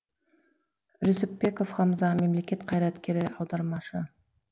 жүсіпбеков хамза мемлекет қайраткері аудармашы